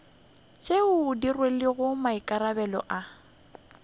tšeo di rwelego maikarabelo a